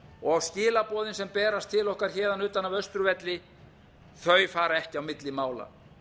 og skilaboðin sem berast til okkar héðan utan af austurvelli þau fara ekki á milli mála